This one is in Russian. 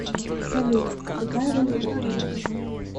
салют какая валюта в канаде